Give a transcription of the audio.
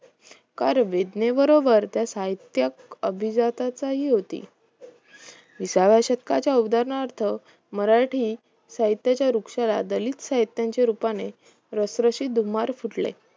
कार्य वेदने बरोबर त्या साहित्यक अभिजाताचा होती विसाव्या शतकाच्या उदाहरणार्थ मराठी साहित्याच्या वृक्षाला दलित साहित्याच्या रूपाने रसरशीत दुमरही फुटले